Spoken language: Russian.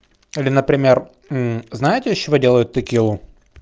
или например знаете из чего делают текилу